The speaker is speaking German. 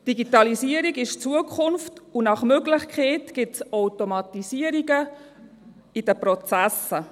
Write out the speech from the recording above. Digitalisierung ist Zukunft, und nach Möglichkeit gibt es Automatisierungen in den Prozessen.